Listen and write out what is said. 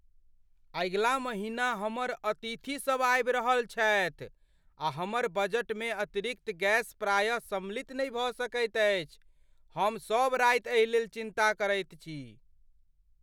अगिला महिना हमर अतिथिसब आबि रहल छथि आ हमर बजटमे अतिरिक्त गैस प्रायः सम्मिलित नहि भऽ सकैत अछि। हम सब राति एहि लेल चिन्ता करैत छी।